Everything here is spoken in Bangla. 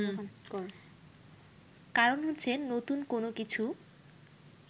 কারণ হচ্ছে নতুন কোনো কিছু